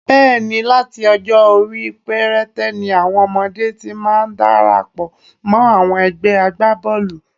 Bẹ́ẹ̀ ni, láti ọjọ́-orí perete ni àwọn ọmọdé ti máa ń darapọ̀ mọ́ àwọn ẹgbé agbábọ́ọ̀lù.